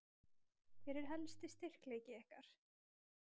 Hver er helsti styrkleiki ykkar?